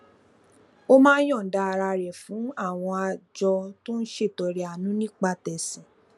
ó máa ń yònda ara rè fún àwọn àjọ tó ń ṣètọrẹàánú nípa tèsìn